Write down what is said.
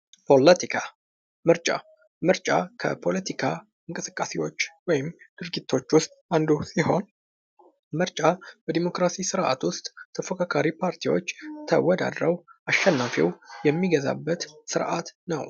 ፖለቲካ ምርጫ: ምርጫ ከፖለቲካ እንቅስቃሴዎች ወይም ድርጊቶች ዉስጥ አንዱ ሲሆን ምርጫ በዲሞክራሲ ስርዓት ዉስጥ ተፎካካሪ ፓርቲዎች ተወዳድረው አሸናፊው የሚገዛበት ስርዓት ነው::